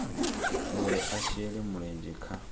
uri a shele mulenzhe kha